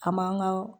An man ga